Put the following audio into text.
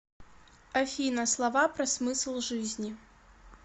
афина слова про смысл жизни